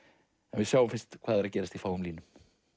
en við sjáum fyrst hvað er að gerast í fáum línum